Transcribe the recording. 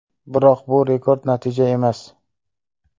Biroq bu rekord natija emas.